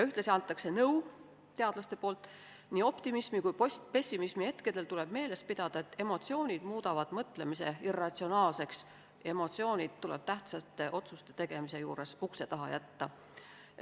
Ühtlasi annavad teadlased nõu: nii optimismi- kui ka pessimismihetkedel tuleb meeles pidada, et emotsioonid muudavad mõtlemise irratsionaalseks, emotsioonid tuleb tähtsate otsuste tegemise juures ukse taha jätta.